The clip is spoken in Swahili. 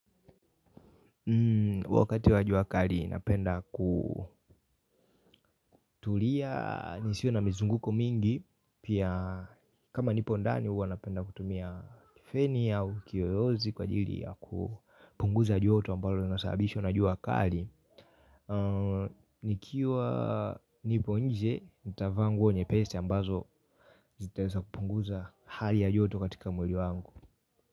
Wakati wa jua kali napenda kutulia nisiwe na mizunguko mingi pia kama nipo ndani huwa napenda kutumia kifeni au kiyoyozi kwa ajili ya kupunguza joto ambalo linasababishwa na jua kali nikiwa nipo nje nitavaa nguo nyepesi ambazo zitaweza kupunguza hali ya joto katika mwili wangu.